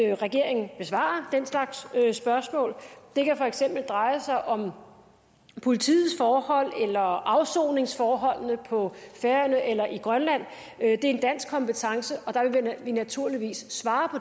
regeringen besvarer den slags spørgsmål det kan for eksempel dreje sig om politiets forhold eller afsoningsforholdene på færøerne eller i grønland det er en dansk kompetence og der vil vi naturligvis svare